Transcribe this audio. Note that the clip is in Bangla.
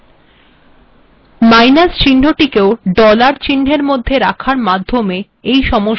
মাইনাস চিহ্নকেও ডলারের মধ্যে লেখার মাধ্যমে এই সমস্যার সমাধান করা যায়